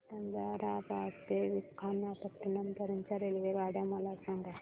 सिकंदराबाद ते विशाखापट्टणम पर्यंत च्या रेल्वे मला सांगा